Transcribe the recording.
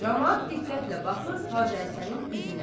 Camaat diqqətlə baxır Hacı Həsənin üzünə.